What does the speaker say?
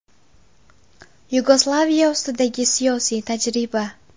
Yugoslaviya ustidagi siyosiy tajriba.